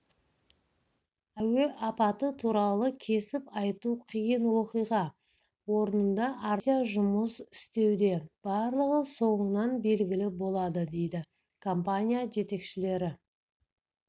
әуе апаты туралы кесіп айту қиын оқиға орнында арнайы комиссия жұмыс істеуде барлығы соңынан белгілі болады дейді компания жетекшілері